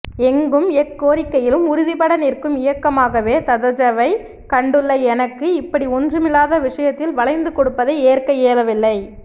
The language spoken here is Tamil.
எங்கும் எக்கோரிக்கையிலும் உறுதிபட நிற்கும் இயக்கமாகவே ததஜவை கண்டுள்ள எனக்கு இப்படி ஒன்றுமிலாத விசயத்தில் வளைந்து கொடுப்பதை ஏற்க இயலவில்லை